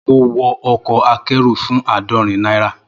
Mo wọ ọkọ̀ akẹ́rù fún àádọ́rin náírà